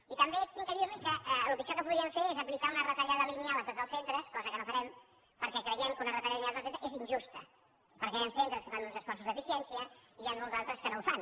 i també haig de dir li que el pitjor que podríem fer és aplicar una retallada lineal a tots els centres cosa que no farem perquè creiem que una retallada lineal a tots els centres és injusta perquè hi han centres que fan uns esforços d’eficiència i n’hi ha uns altres que no els fan